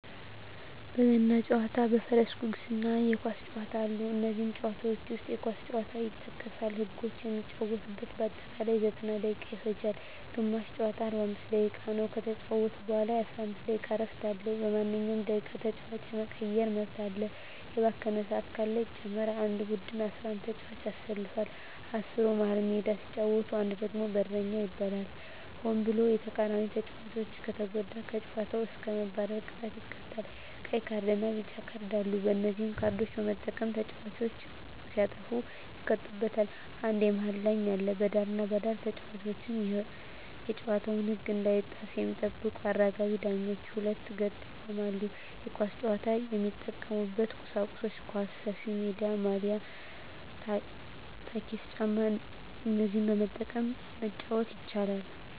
በገና ጨዋታ በፈረስ ጉግስ እና የኳስ ጨዋታ አሉ ከነዚህም ጨዋታዎች ዉስጥ የኳስ ጨዋታ ይጠቀሳል ህጎችም የሚጫወቱበት በአጠቃላይ 90ደቂቃ ይፈጃል ግማሽ ጨዋታ 45 ደቂቃ ነዉ ከተጫወቱ በኋላ የ15 ደቂቃ እረፍት አለዉ በማንኛዉም ደቂቃ ተጫዋች የመቀየር መብት አለ የባከነ ሰአት ካለ ይጨመራል አንድ ቡድን 11ተጫዋቾችን ያሰልፋል አስሩ መሀል ሜዳ ሲጫወት አንዱ ደግሞ በረኛ ይባላል ሆን ብሎ የተቃራኒተጫዋቾችን ከተጎዳ ከጨዋታዉ እስከ መባረር ቅጣት ይቀጣሉ ቀይ ካርድና ቢጫ ካርድ አሉ በነዚህ ካርዶች በመጠቀም ተጫዋቾች ሲያጠፉ ይቀጡበታል አንድ የመሀል ዳኛ አለ በዳርና በዳር ተጫዋቾች የጨዋታዉን ህግ እንዳይጥሱ የሚጠብቁ አራጋቢ ዳኞች በሁለት ገጥ ይቆማሉ የኳስ ጫዋች የሚጠቀሙበት ቁሳቁሶች ኳስ፣ ሰፊሜዳ፣ ማልያ፣ ታኬታ ጫማ እነዚህን በመጠቀም መጫወት ይቻላል